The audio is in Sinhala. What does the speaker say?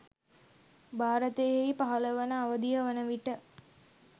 භාරතයෙහි පහළවන අවධිය වන විට